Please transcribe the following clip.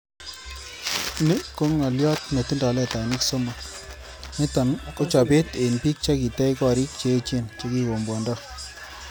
Ni ko ng'olyot netindoi letainik somok, Niton ko chobet en bik chekitech gorik che echen chekikombwondoo.